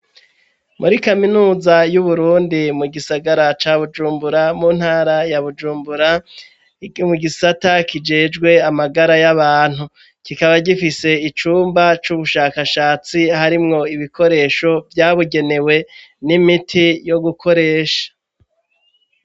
Muri kaminuza y'uburundi mu gisagara ca bujumbura mu ntara ya bujumbura mu gisata kijejwe amagara y'abantu kikaba gifise icumba c'ubushakashatsi harimwo ibikoresho vyabugenewe n'imiti yo gukoresha.